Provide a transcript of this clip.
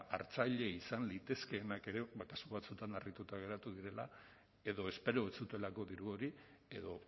hartzaile izan litezkeenak ere ba kasu batzuetan harrituta geratu direla edo espero ez zutelako diru hori edo